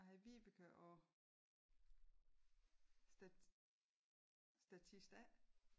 Jeg hedder Vibeke og statist A